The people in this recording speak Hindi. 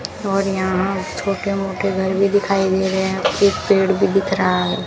और यहां छोटे मोटे घर भी दिखाई दे रहे हैं काफी पेड़ भी दिख रहा है।